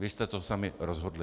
Vy jste to sami rozhodli.